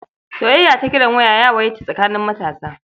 Soyayya ta kiran waya ta yawaita tsakaning matasa.